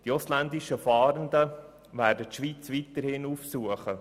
Die ausländischen Fahrenden werden die Schweiz weiterhin aufsuchen.